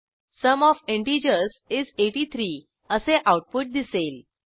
sum of integers is 83 असे output दिसेल